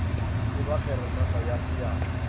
e ba kgeranata ya seatla